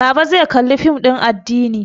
Baba zai Kalli fim din addini